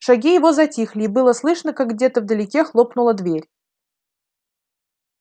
шаги его затихли и было слышно как где-то вдалеке хлопнула дверь